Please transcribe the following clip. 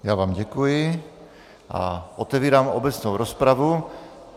Já vám děkuji a otevírám obecnou rozpravu.